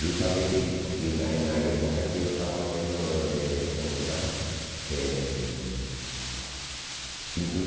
Justamente em na é em na época que eu estava fazendo eh, como se chama eh, pintura.